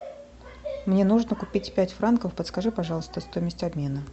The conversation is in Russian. мне нужно купить пять франков подскажи пожалуйста стоимость обмена